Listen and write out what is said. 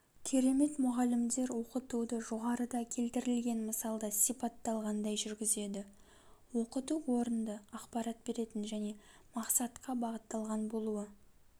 керемет мұғалімдер оқытуды жоғарыда келтірілген мысалда сипатталғандай жүргізеді оқыту орынды ақпарат беретін және мақсатқа бағытталған болуы